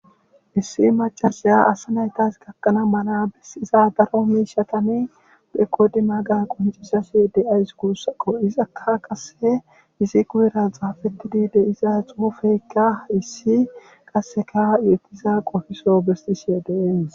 Issi macasaya asa naytas gakkanaa mala iza daro miishatane bekodi maaga qoncisasi de'ays guussakko izakka qasse isi kuyera xaafeti diide iza xuufeykka issi qasseka yetiza qofiso bestishe dees.